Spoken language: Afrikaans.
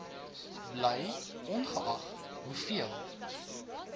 bly ongeag hoeveel